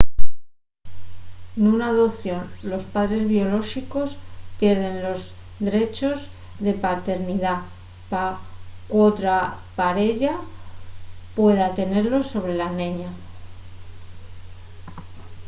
nuna adopción los padres biolóxicos pierden los drechos de paternidá pa qu’otra pareya pueda tenelos sobre la neña